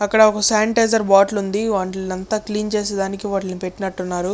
అక్కడ ఒక sanitiser bottle ఉంది. వాటిల్లంతా క్లీన్ చేసి దానికి పెటినటు ఉన్నారు.